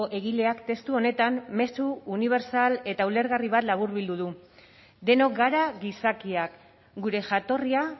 egileak testu honetan mezu unibertsal eta ulergarri bat laburbildu du denok gara gizakiak gure jatorria